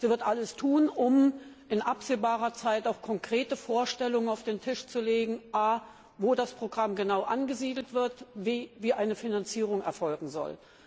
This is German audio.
Sie wird alles tun, um in absehbarer Zeit auch konkrete Vorstellungen auf den Tisch zu legen a wo das Programm genau angesiedelt wird und b wie eine Finanzierung erfolgen soll.